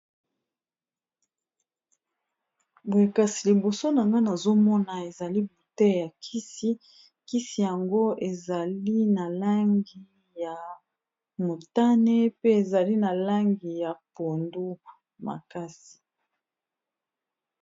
Boye kasi liboso na nga nazomona ezali bute ya kisi, kisi yango ezali na langi ya motane pe ezali na langi ya pondu makasi.